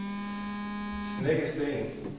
Snekkersten